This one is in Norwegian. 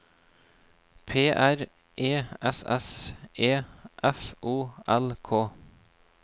P R E S S E F O L K